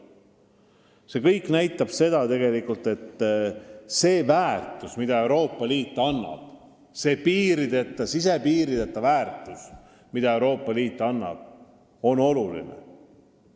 See kõik näitab tegelikult, et see n-ö sisepiirideta väärtus, mida Euroopa Liit loob, on oluline.